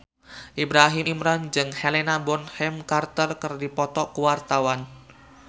Ibrahim Imran jeung Helena Bonham Carter keur dipoto ku wartawan